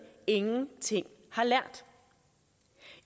ingenting har lært